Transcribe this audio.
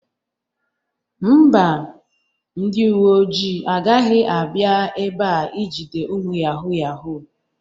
Mba, ndị uwe ojii agaghị abịa ebe a ijide ụmụ yahoo yahoo